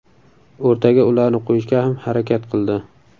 O‘rtaga ularni qo‘yishga ham harakat qildi.